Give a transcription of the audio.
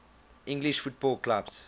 english football clubs